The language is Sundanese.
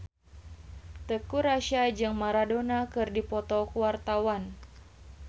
Teuku Rassya jeung Maradona keur dipoto ku wartawan